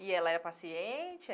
E ela é paciente?